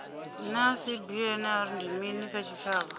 naa cbnrm ndi mini kha tshitshavha